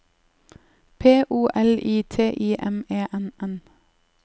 P O L I T I M E N N